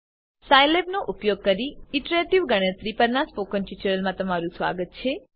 સાઈલેબનો ઉપયોગ કરી ઈટરેટીવ ગણતરી પરના સ્પોકન ટ્યુટોરીયલમાં તમારું સ્વાગત છે